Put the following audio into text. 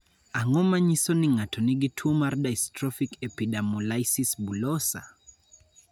Ang�o ma nyiso ni ng�ato nigi tuo mar Dystrophic epidermolysis bullosa?